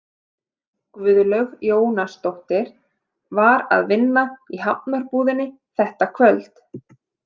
Guðlaug Jónasdóttir var að vinna í Hafnarbúðinni þetta kvöld.